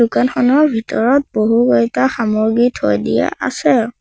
দোকানখনৰ ভিতৰত বহুকেইটা সামগ্ৰী থৈ দিয়া আছে।